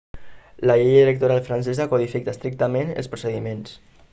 la llei electoral francesa codifica estrictament els procediments